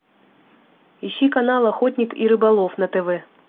ищи канал охотник и рыболов на тв